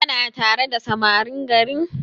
Kana tare da samarin garin?